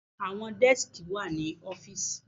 Àwọn dẹ́skì wà ní ọ́fìsì.